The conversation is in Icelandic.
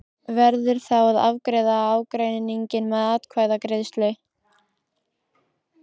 Verður þá að afgreiða ágreininginn með atkvæðagreiðslu.